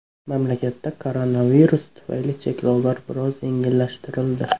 Mamlakatda koronavirus tufayli cheklovlar biroz yengillashtirildi.